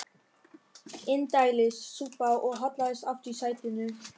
Indælis súpa og hallaðist aftur í sætinu.